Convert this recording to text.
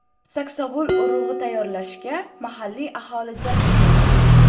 Saksovul urug‘i tayyorlashga mahalliy aholi jalb etilgan.